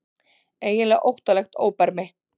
Eiginlega óttalegt óbermi.